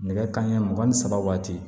Nɛgɛ kanɲɛ mugan ni saba waati